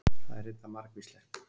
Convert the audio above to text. Það er reyndar margvíslegt.